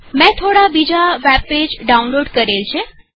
મેં બીજા થોડા વેબ પેજ ડાઉનલોડ કરેલ છે